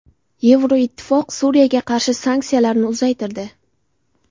Yevroittifoq Suriyaga qarshi sanksiyalarni uzaytirdi.